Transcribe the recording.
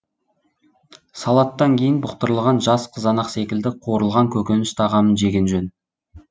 салаттан кейін бұқтырылған жас қызанақ секілді қуырылған көкөніс тағамын жеген жөн